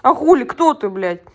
а хули кто ты блять